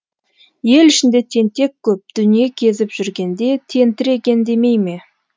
ел ішінде тентек көп дүние кезіп жүргенде тентіреген демей ме